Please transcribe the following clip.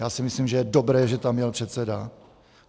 Já si myslím, že je dobré, že tam jel předseda.